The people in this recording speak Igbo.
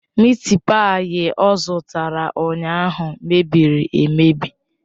Mịịt páyi ọ zụtara ụnyahụ mebiri emebi.